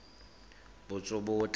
ditsobotla